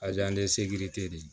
de